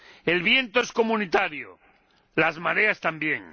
El viento es comunitario, las mareas también.